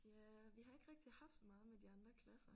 Ja vi har ikke rigtig haft så meget med de andre klasser